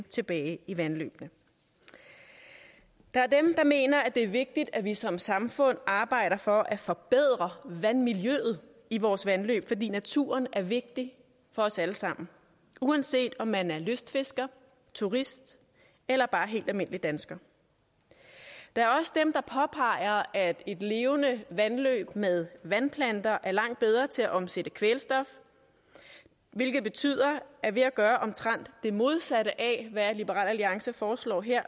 tilbage i vandløbene der er dem der mener at det er vigtigt at vi som samfund arbejder for at forbedre vandmiljøet i vores vandløb fordi naturen er vigtig for os alle sammen uanset om man er lystfisker turist eller bare helt almindelig dansker der er også dem der påpeger at et levende vandløb med vandplanter er langt bedre til at omsætte kvælstof hvilket betyder at ved at gøre omtrent det modsatte af hvad liberal alliance foreslår her